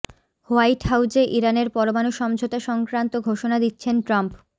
white হাউজে ইরানের পরমাণু সমঝোতা সংক্রান্ত ঘোষণা দিচ্ছেন ট্রাম্প